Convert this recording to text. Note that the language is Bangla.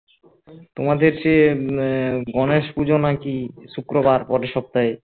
তোমাদের সে গনেশ পুজো নাকি শুক্রবার পরের সপ্তাহে